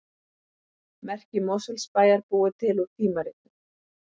Merki Mosfellsbæjar búið til úr tímaritum